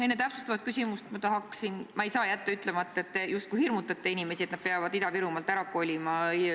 Enne täpsustavat küsimust ma ei saa jätta ütlemata, et te justkui hirmutate inimesi, et nad peavad Ida-Virumaalt ära kolima.